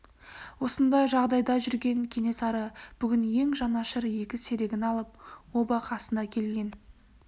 осындай жағдайда жүрген кенесары бүгін ең жанашыр екі серігін алып оба қасына келген